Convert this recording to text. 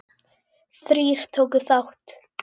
Þrír tóku þátt.